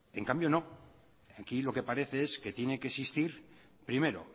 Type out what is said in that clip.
en cambio no aquí lo que parece es que tiene que existir primero